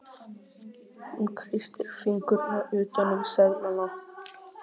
Hún kreistir fingurna utan um seðlana.